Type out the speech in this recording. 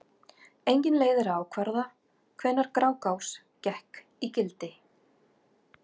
Engin leið er að ákvarða hvenær Grágás gekk í gildi.